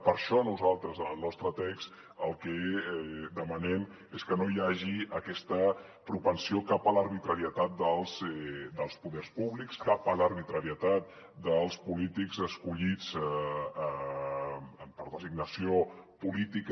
per això nosaltres en el nostre text el que demanem és que no hi hagi aquesta propensió cap a l’arbitrarietat dels poders públics cap a l’arbitrarietat dels polítics escollits per designació política